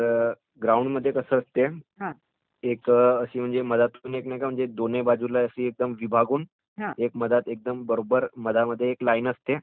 ग्राउंडमध्ये कसं असते, एक मध्यातून दोन्ही बाजूला विभागून, बरोबर मध्यात एक लाईन असते.